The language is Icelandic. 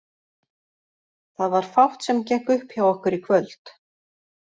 Það var fátt sem gekk upp hjá okkur í kvöld.